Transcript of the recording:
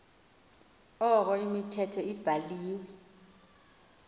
ukoba imithetho ebhahve